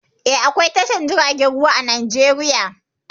Eh, akwao tashar jiragen ruwa a Najeriya.